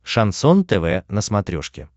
шансон тв на смотрешке